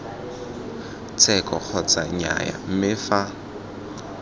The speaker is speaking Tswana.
tsheko kgotsa nnyaya mme fa